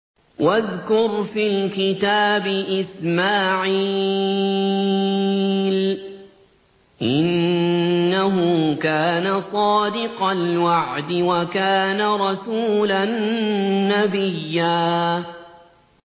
وَاذْكُرْ فِي الْكِتَابِ إِسْمَاعِيلَ ۚ إِنَّهُ كَانَ صَادِقَ الْوَعْدِ وَكَانَ رَسُولًا نَّبِيًّا